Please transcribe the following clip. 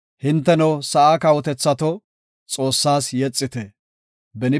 Hinteno, sa7aa kawotethato, Xoossas yexite. Salaha